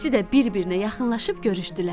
İkisi də bir-birinə yaxınlaşıb görüşdülər.